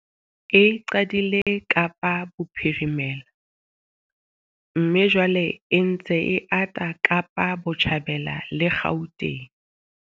E qadile Kapa Bophirimela mme jwale e ntse e ata Kapa Botjhabela le Gauteng.